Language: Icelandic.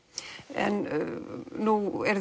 en nú